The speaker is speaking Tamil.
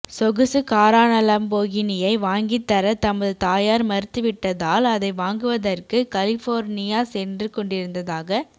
சொகுசு காரான லம்போகினியை வாங்கித் தர தமது தாயார் மறுத்துவிட்டதால் அதை வாங்குவதற்கு கலிஃபோர்னியா சென்றுகொண்டிருந்ததாக